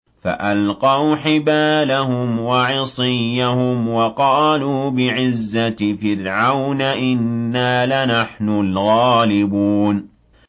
فَأَلْقَوْا حِبَالَهُمْ وَعِصِيَّهُمْ وَقَالُوا بِعِزَّةِ فِرْعَوْنَ إِنَّا لَنَحْنُ الْغَالِبُونَ